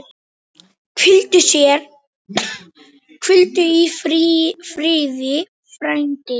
Hvíldu í friði, frændi.